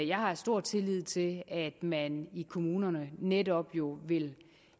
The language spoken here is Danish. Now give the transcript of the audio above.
jeg har stor tillid til at man i kommunerne netop jo vil